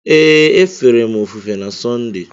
Ee, e fere m ofufe na Sọnde.